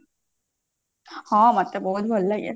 ହଁ ମତେ ବହୁତ ଭଲ ଲାଗେ